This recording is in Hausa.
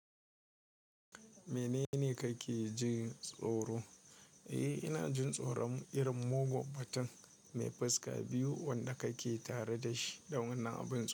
Menene kake jin tsoro? Eh, ina jin tsoron irin mugun mutum mai fuska biyu wanda kake tare dashi da wani abin.